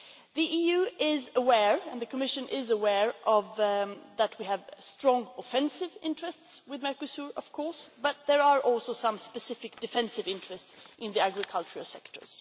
The EU is aware and the Commission is aware that we have strong offensive interests with Mercosur but there are also some specific defensive interests in the agricultural sector.